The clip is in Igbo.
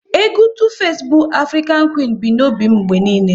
Egwu Tu-face bu Afrịkan Quin bi n'obi m mgbe niile